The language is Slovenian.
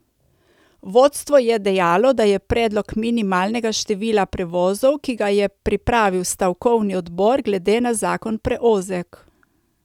Vodstvo je dejalo, da je predlog minimalnega števila prevozov, ki ga je pripravil stavkovni odbor, glede na zakon preozek.